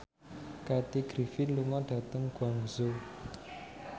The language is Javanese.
Kathy Griffin lunga dhateng Guangzhou